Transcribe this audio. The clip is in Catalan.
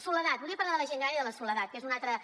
soledat volia parlar de la gent gran i de la soledat que és un altre